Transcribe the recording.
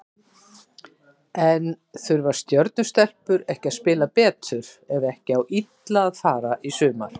En þurfa Stjörnu stelpur ekki að spila betur ef ekki á illa fara í sumar?